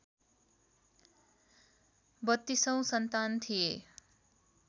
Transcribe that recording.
बत्तीसौँ सन्तान थिए